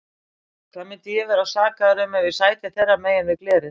Hvað myndi ég vera sakaður um ef ég sæti þeirra megin við glerið?